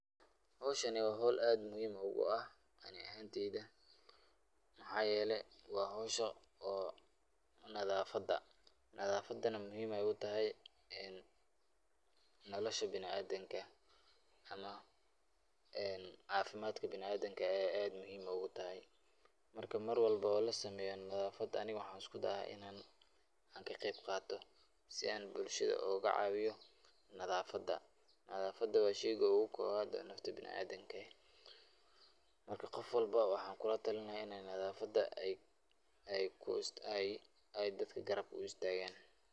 Howshan waa howl aad muhiim u ah ani ahaan teeyda, waxaa yeele waa howsha nadafada, nadafadana muhiim ayeey kutahay nolosha biniadamka, ama cafimaadka biniadamka ayeey aad muhiim ugu tahay, marka mar walbo oo lasameeyo nadafada ani waxaan isku daaa inaan ka qeyb qaato, si aan bulshada ooga caawiyo nadafada, nadafada waa sheeyga oogu koobad oo nolosha biniadamka, marka qof walbo waxaan kula talin lahaa in aay nadafada dadka ku garab istaagan.